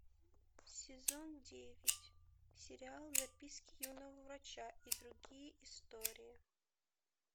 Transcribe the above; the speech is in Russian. сезон девять сериал записки юного врача и другие истории